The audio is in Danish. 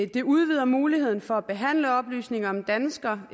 det udvider muligheden for at behandle oplysninger om danskere